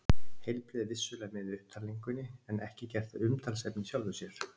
Heilbrigði er vissulega með í upptalningunni en ekki gert að umtalsefni í sjálfu sér.